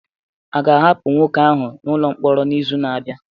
A ga-ahapụ nwoke ahụ n'ụlọ mkpọrọ n'izu na-abịa?